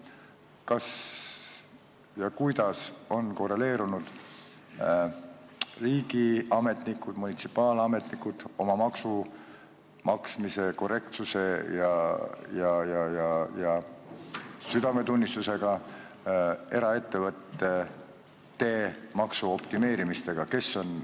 Kas ja kuidas on korreleerunud riigiametnikud ja munitsipaalametnikud oma maksumaksmise korrektsuse ja südametunnistusega eraettevõtete maksuoptimeerimistega?